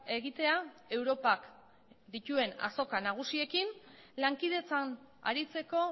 egitea europak dituen azoka nagusiekin lankidetzan aritzeko